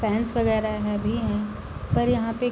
friends वगैरा हैं भी हैं पर यहां पे --